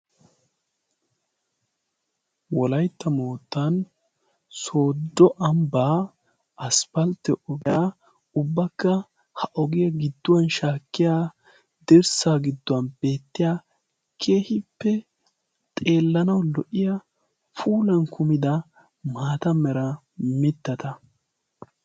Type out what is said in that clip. Wolaytta moottan Sooddo ambba aspalte ogiyaa, ubbakka ha ogiyaa giduwan shaakkiya dirssa giduwan beettiya keehippe xeelanaw lo"iyaa puulan kummida maata mera mittata.